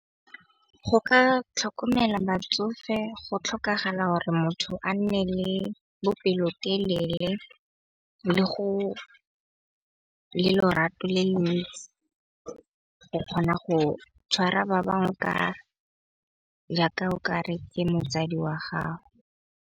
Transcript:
Go ka tlhokomela batsofe go tlhokagala gore motho a nne le bopelotelele le go le lorato le le go kgona go tshwara ba bangwe ka jaaka o ka re ke motsadi wa gago.